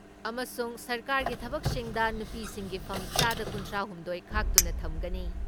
ꯑꯃꯁꯨꯡ ꯁꯔꯀꯥꯔꯒꯤ ꯊꯕꯛꯁꯤꯡꯗ ꯅꯨꯄꯤꯁꯤꯡꯒꯤ ꯐꯝ ꯆꯥꯗ ꯀꯨꯟꯊ꯭ꯔꯥ ꯍꯨꯝꯗꯣꯏ ꯈꯥꯛꯇꯨꯅ ꯊꯝꯒꯅꯤ ꯫